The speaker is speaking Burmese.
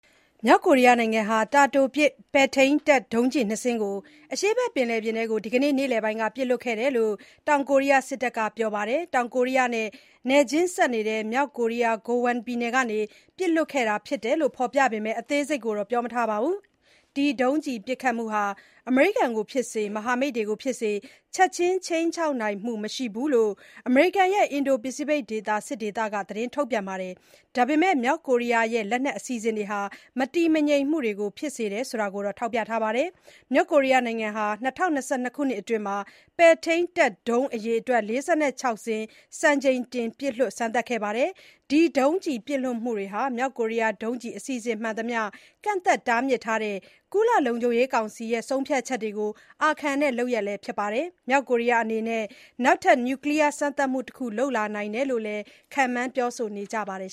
မြောက်ကိုရီးယားနိုင်ငံဟာ တာတိုပစ် ပဲ့ထိန်းတပ်ဒုံးကျည်နှစ်စင်းကို အရှေ့ဘက်ပင်လယ်ပြင်ထဲကို ဒီကနေ့ နေ့လည်ပိုင်းက ပစ်လွှတ်ခဲ့တယ်လို့ တောင်ကိုရီးယားစစ်တပ်က ပြောပါတယ်။ တောင်ကိုရီးယားနဲ့နယ်ချင်းစပ် မြောက်ကိုရီးယား Gangwon ပြည်နယ်ကနေ ပစ်လွှတ်ခဲ့တာဖြစ်တယ်လို့ ဖော်ပြပေမယ့် အသေးစိတ်တော့ ပြောမထားပါဘူး။ ဒီ ဒုံးကျည်ပစ်ခတ်မှုဟာ အမေရိကန်ကိုဖြစ်စေ၊ မဟာမိတ်တွေကိုဖြစ်စေ ချက်ချင်း ခြိမ်းခြောက်နိုင်မှုမရှိဘူးလို့ အမေရိကန်ရဲ့ အင်ဒို-ပစိဖိတ်ဒေသ စစ်ဒေသက ထုတ်ပြန်ပါတယ်။ ဒါပေမယ့် မြောက်ကိုရီးယားရဲ့လက်နက်အစီအစဉ်တွေဟာ မတည်ငြိမ်မှုတွေ ဖြစ်စေတယ်ဆိုတာကိုတော့ ထောက်ပြထားပါတယ်။ မြောက်ကိုရီးယားနိုင်ငံဟာ ၂၀၂၂ ခုနှစ်အတွင်း ပဲ့ထိန်းတပ်ဒုံးအရေအတွက် ၄၆ စင်း စံချိန်တင် ပစ်လွှတ်စမ်းသပ်ခဲ့ပါတယ်။ ဒီ ဒုံးကျည်ပစ်လွှတ်မှုတွေဟာ မြောက် ကိုရီးယား ဒုံးကျည် အစီအစဉ်မှန်သမျှ ကန့်သတ်တားမြစ်တဲ့ ကုလ လုံခြုံရေးကောင်စီ ဆုံးဖြတ်ချက်တွေကို အာခံတဲ့လုပ်ရပ်လည်း ဖြစ်ပါတယ်။ မြောက်ကိုရီးယားအနေနဲ့ နောက်ထပ် နျူကလီယား စမ်းသပ်မှုတခု လုပ်လာနိုင်တယ်လို့လည်း ခန့်မှန်းပြောဆိုနေကြပါတယ်